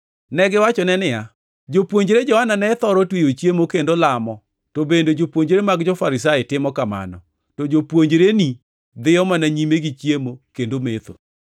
Negiwachone niya, “Jopuonjre Johana ne thoro tweyo chiemo kendo lamo, to bende jopuonjre mag jo-Farisai timo kamano, to jopuonjreni dhiyo mana nyime gi chiemo kendo metho.”